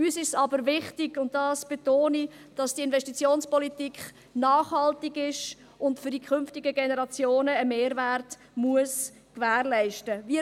Uns ist es aber wichtig, und dies betone ich, dass die Investitionspolitik nachhaltig ist und für die künftigen Generationen einen Mehrwert gewährleisten muss.